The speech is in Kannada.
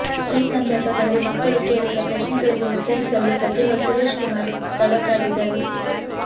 ಈ ಸಂದರ್ಭದಲ್ಲಿ ಮಕ್ಕಳು ಕೇಳಿದ ಪ್ರಶ್ನೆಗಳಿಗೆ ಉತ್ತರಿಸಲು ಸಚಿವ ಸುರೇಶ್ ಕುಮಾರ್ ತಡಕಾಡಿದರು